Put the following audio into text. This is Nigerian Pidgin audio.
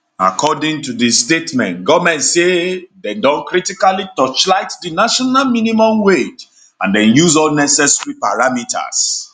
according to di statement goment say dem don critically torchlight di national minimum wage and dem use all necessary parameters